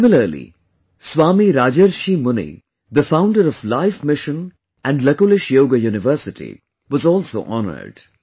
Similarly, Swami Rajarsrhi Muni the founder of Life Mission and Lakulish Yoga University was also honoured